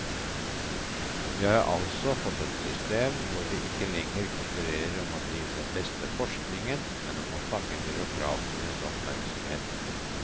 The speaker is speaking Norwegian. Vi har altså fått et system hvor vi ikke lenger konkurrerer om å drive den beste forskningen, men om å fange byråkratenes oppmerksomhet.